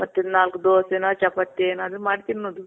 ಮತ್ತೆ ನಾಲ್ಕ್ ದೋಸೆನೋ ಚಪಾತಿ ಏನಾದ್ರು ಮಾಡ್ ತಿನ್ನೋದು.